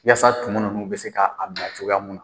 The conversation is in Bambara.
Yasa tumu ninnu bɛ se ka a bila cogoya mun na.